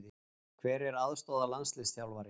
Hver er aðstoðarlandsliðsþjálfari?